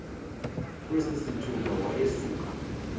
kwesi sithuba wayesuka